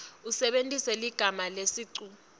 usebentise ligama lesicu